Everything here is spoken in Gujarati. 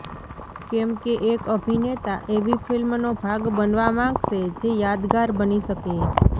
કેમકે એક અભિનેતા એવી ફિલ્મનો ભાગ બનવા માગશે જે યાદગાર બની શકે